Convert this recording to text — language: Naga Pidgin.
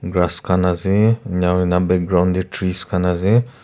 Ras khan ase enahoina background tey trees khan ase.